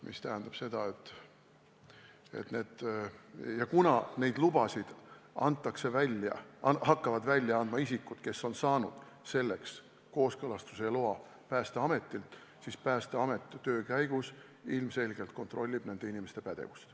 See tähendab seda, et kuna neid lubasid hakkavad välja andma isikud, kes on saanud selleks kooskõlastuse ja loa Päästeametilt, siis Päästeamet töö käigus ilmselgelt kontrollib nende inimeste pädevust.